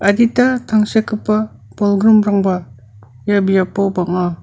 adita tangsekgipa bolgrimrangba ia biapo bang·a.